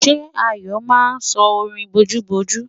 Ṣé Ayọ̀ máa sọ orin bojúbojú?